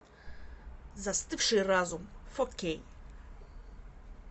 застывший разум фо кей